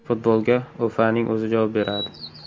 Futbolga O‘FAning o‘zi javob beradi.